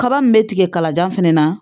Kaba min bɛ tigɛ kalajan fana na